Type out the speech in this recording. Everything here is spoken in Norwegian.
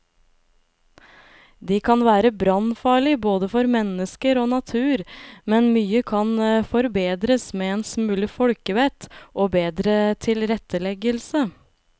De kan være brannfarlige både for mennesker og natur, men mye kan forbedres med en smule folkevett og bedre tilretteleggelse.